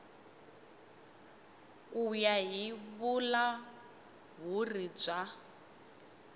ku ya hi vulahuri bya